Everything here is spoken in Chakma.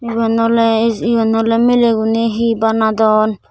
eben oley es eben oley miley guney hi banadon.